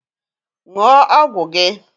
Ṅụọ ọgwụ gị!